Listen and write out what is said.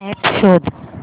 app शोध